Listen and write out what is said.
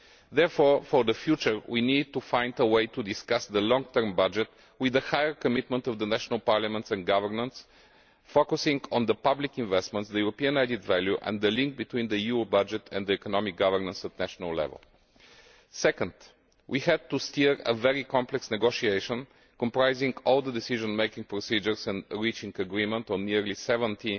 Therefore, in the future we need to find a way to discuss the long term budget with a greater commitment by the national parliaments and governments, focusing on public investments, European added value and the link between the EU budget and economic governance at national level. Second, we had to steer a very complex negotiation comprising all the decision making procedures and reaching agreement on nearly 70